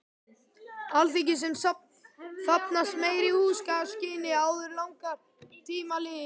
Alþingis, sem þarfnast meiri húsakynna, áður langir tímar líða.